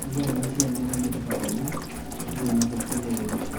neeku ore enasiai netaa enetipat oleng, toltung'anak pookin loiremisho.